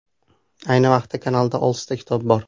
Ayni vaqtda kanalda oltita kitob bor.